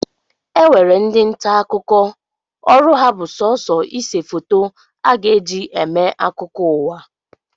E nwere ndị nta akụkọ ọrụ ha bụ sọsọ ise foto a ga-eji eme akụkọ ụwa